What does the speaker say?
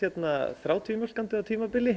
þrjátíu mjólkandi á tímabili